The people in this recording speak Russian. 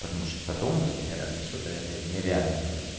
потому что потом блять меня разнесёт нереально блядь